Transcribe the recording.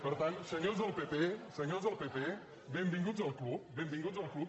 per tant senyors del pp senyors del pp benvinguts al club benvinguts al club